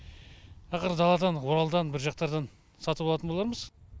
ақыры даладан оралдан бір жақтардан сатып алатын болармыз